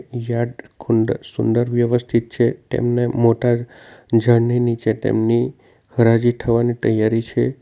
ઝાડ કુંડ સુંદર વ્યવસ્થિત છે તેમને મોટા ઝાડની નીચે તેમની હરાજી થવાની તૈયારી છે.